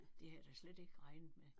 Det havde jeg da slet ikke regnet med